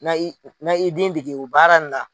Na n' i na n' i den dege o baara la